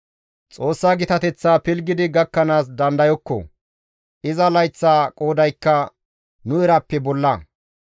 Xoossa gitateththa pilggidi gakkanaas nuni dandayokko; iza layththa qoodaykka nu erappe bolla.